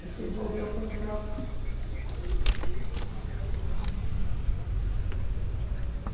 Mas se envolveu com droga.